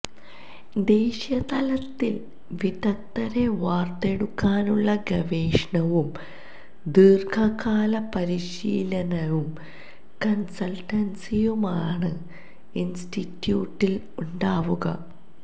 ദേശീയ തലതത്ില് വിദഗ്ദരെ വാര്ത്തെടുക്കാനുള്ള ഗവേഷണവും ദീര്ഘകാല പരിശീലനവും കണ്സല്റ്റന്സിയുമാണ് ഇന്സ്റ്റിറ്റ്യൂട്ടില് ഉണ്ടാവുക